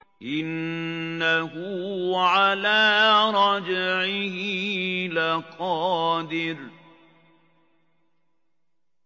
إِنَّهُ عَلَىٰ رَجْعِهِ لَقَادِرٌ